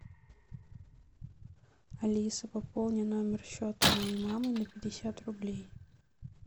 алиса пополни номер счета моей мамы на пятьдесят рублей